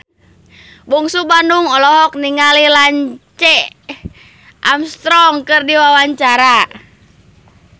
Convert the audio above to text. Bungsu Bandung olohok ningali Lance Armstrong keur diwawancara